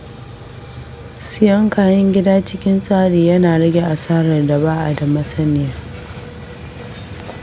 Siyan kayan gida cikin tsari yana rage asarar da ba'a da masaniya.